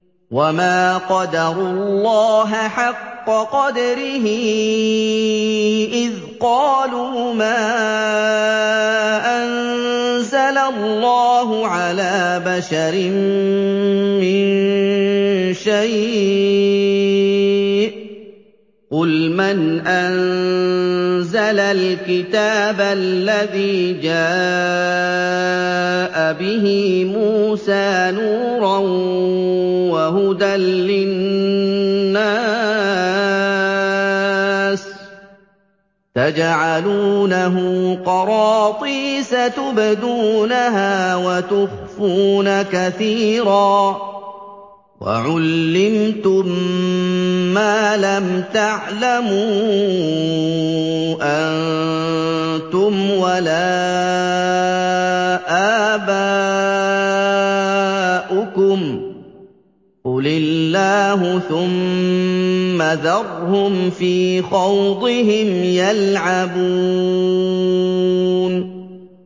وَمَا قَدَرُوا اللَّهَ حَقَّ قَدْرِهِ إِذْ قَالُوا مَا أَنزَلَ اللَّهُ عَلَىٰ بَشَرٍ مِّن شَيْءٍ ۗ قُلْ مَنْ أَنزَلَ الْكِتَابَ الَّذِي جَاءَ بِهِ مُوسَىٰ نُورًا وَهُدًى لِّلنَّاسِ ۖ تَجْعَلُونَهُ قَرَاطِيسَ تُبْدُونَهَا وَتُخْفُونَ كَثِيرًا ۖ وَعُلِّمْتُم مَّا لَمْ تَعْلَمُوا أَنتُمْ وَلَا آبَاؤُكُمْ ۖ قُلِ اللَّهُ ۖ ثُمَّ ذَرْهُمْ فِي خَوْضِهِمْ يَلْعَبُونَ